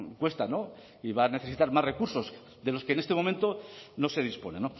cuesta y va a necesitar más recursos de los que en este momento no se dispone